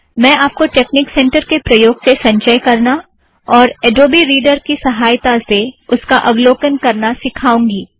मैं आपको tech centre के प्रयोग से संचय करना और अड़ोबी रीड़र की सहायता से उसका अवलोकन करना सिखाऊँगी